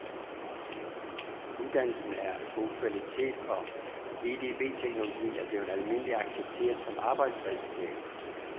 Uddannelsen er af god kvalitet, og edbteknologien er blevet almindeligt accepteret som arbejdsredskab.